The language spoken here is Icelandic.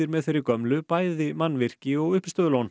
með þeirri gömlu bæði mannvirki og